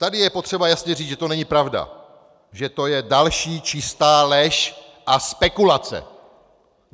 Tady je potřeba jasně říci, že to není pravda, že to je další čistá lež a spekulace.